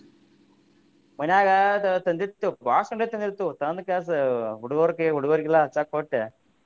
ಮನ್ಯಾಗ ತಂದಿರ್ತೇವ್ ತಂದಿರ್ತೇವ್ ತಂದ ಕಾಸ್ ಹುಡುಗ್ರ ಕೈ ಹುಡುಗರಿಗೆಲ್ಲ ಹಚ್ಚಾಕ ಕೊಟ್ಟ.